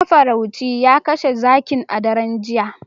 Mafarauci ya kashe zakin a daren jiya